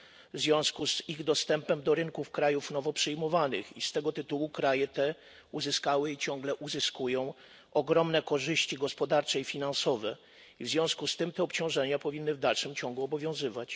w związku z ich dostępem do rynków krajów nowo przyjmowanych i z tego tytułu kraje te uzyskały i ciągle uzyskują ogromne korzyści gospodarcze i finansowe, i w związku z tym te obciążenia powinny w dalszym ciągu obowiązywać.